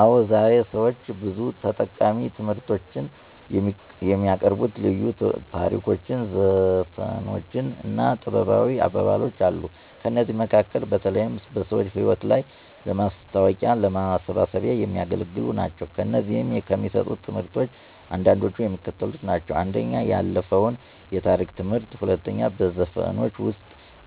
አዎ ዛሬ ለሰዎች ብዙ ጠቃሚ ትምህርቶችን የሚያቀርቡ ልዩ ታሪኮች ዘፈኖች እና ጥበባዊ አባባሎች አሉ። ከእነዚህም መካከል በተለይም በሰዎች ህይወት ላይ ለማስታዎቂያና ለማሳሰቢያ የሚያገለግሉ ናቸው። ከእነዚህም ከሚሰጡት ትምህርቶች አንዳንዶቹ የሚከተሉት ናቸው፦ 1. የአለፋው የታሪክ ትምህርት 2. በዘፈኖች ውስጥ